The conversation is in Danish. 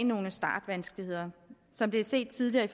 nogle startvanskeligheder som det er set tidligere